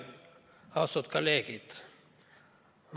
Austatud kolleegid!